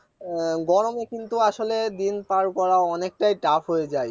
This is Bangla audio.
গরমে কিন্তু আসলে দিন পার করা অনেকটাই tough হয়ে যাই